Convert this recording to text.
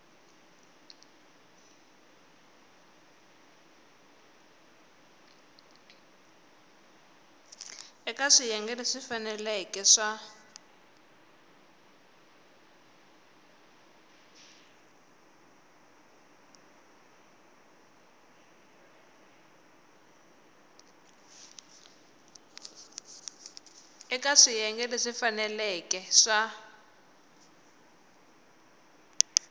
eka swiyenge leswi faneleke swa